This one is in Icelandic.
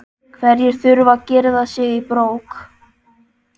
Hverjir þurfa að girða sig í brók?